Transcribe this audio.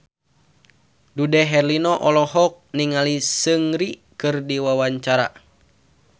Dude Herlino olohok ningali Seungri keur diwawancara